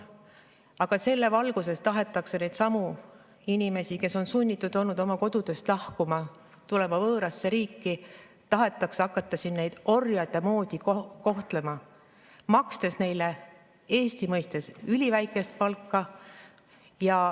Aga selle valguses tahetakse neidsamu inimesi, kes on olnud sunnitud oma kodust lahkuma, tulema võõrasse riiki, orjade moodi kohtlema hakata, makstes neile Eesti mõistes üliväikest palka.